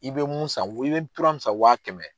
I bɛ mun san, i bɛ tura mun san wa kɛmɛ